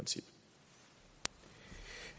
det